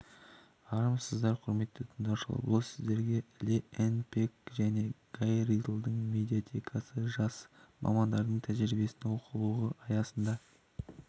армысыздар құрметті тыңдаушылар біз сіздерге ли энн пек және гай рилдің медиаэтика жас мамандардың тәжірибесінен оқулығы аясында